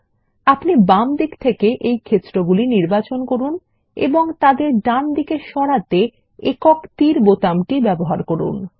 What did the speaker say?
এখন আপনি বাম দিক থেকে এই ক্ষেত্রগুলি নির্বাচন করুন এবং তাদের ডান দিকে সরাতে একক তীর বোতামটি ব্যবহার করুন